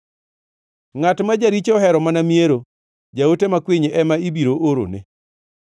Ngʼat ma jaricho ohero mana miero, jaote makwiny ema ibiro orone.